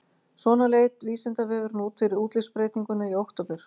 Svona leit Vísindavefurinn út fyrir útlitsbreytinguna í október.